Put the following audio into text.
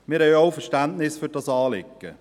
Wir haben auch Verständnis für dieses Anliegen.